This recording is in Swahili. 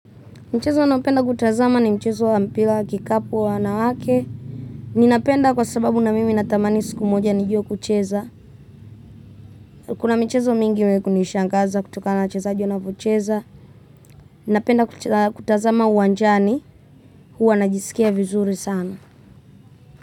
Mchezo naopenda kutazama ni mchezo wa mpira wa kikapu wa wanawake ninapenda kwa sababu na mimi natamani siku moja nijue kucheza kuna michezo mingi imewahi kunishangaza kutokana na wachezaji wanavyocheza ninapenda kutazama uwanjani huwa najisikia vizuri sana.